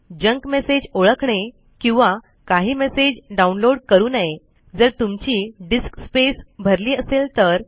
junk message ओळखणे किंवा काही मेसेज डाउनलोड करू नये जर तुमची डिस्क स्पेस भरली असेल तर